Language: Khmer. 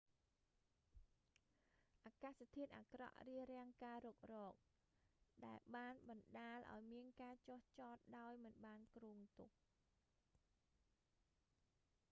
អាកាសធាតុអាក្រក់រារាំងការរុករក ដែលបានបណ្តាលឱ្យមានការចុះចតដោយមិនបានគ្រងទុក